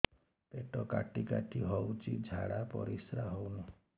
ପେଟ କାଟି କାଟି ହଉଚି ଝାଡା ପରିସ୍କାର ହଉନି